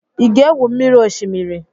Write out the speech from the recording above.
I ga-egwu mmiri oshimiri?